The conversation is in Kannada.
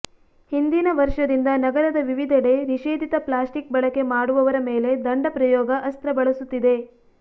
ಹಿಂದಿನ ವರ್ಷದಿಂದ ನಗರದ ವಿವಿಧೆಡೆ ನಿಷೇಧಿತ ಪ್ಲಾಸ್ಟಿಕ್ ಬಳಕೆ ಮಾಡುವವರ ಮೇಲೆ ದಂಡ ಪ್ರಯೋಗ ಅಸ್ತ್ರ ಬಳಸುತ್ತಿದೆ